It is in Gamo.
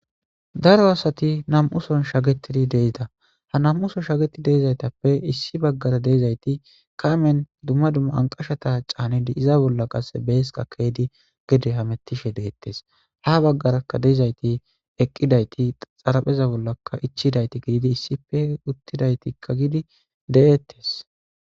Daro asati nam'uson shagetidi deida ha nam'uson shageti deizaytappe issi baggara deizayti kaamen dumma dumma anqashata caanidi iza bolla qasse bees qakeydi gede hamettishe deettes ha baggaraka deizayti eqqidayti xarapheza bollaka ichidayti gididi issife uttidaytikka gidi de'ettes